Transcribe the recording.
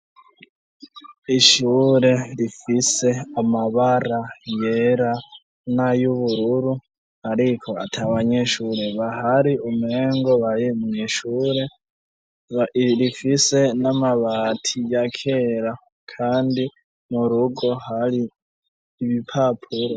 Ishure rifise amabara yera n'ayubururu ariko atabanyeshure bahari umengo bayimuye ishure, rifise n'amabati yakera kandi murugo hari ibipapuro.